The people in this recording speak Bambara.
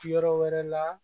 Yɔrɔ wɛrɛ la